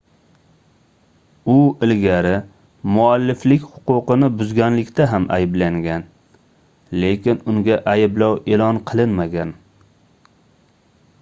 u ilgari mualliflik huquqini buzganlikda ham ayblangan lekin unga ayblov eʼlon qilinmagan